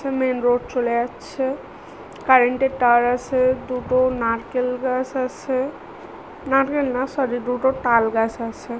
Main road চলে যাচ্ছে কারেন্টের টার আছে দুটো নারকেল গাছ আছে নারকেল না সরি দুটো টাল গাছ আছে।